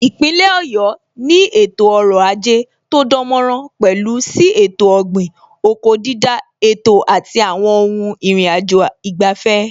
Ipinle Ọ̀yọ́ ni ètò ọrọ̀ ajé tó dánmọ́nrán, pẹ̀lú sí ètò ọ̀gbìn/oko dídá, ètò àti àwọn ohun ìrìnàjò ìgbafẹ́